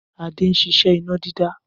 Adé ń ṣiṣẹ́ iná dídá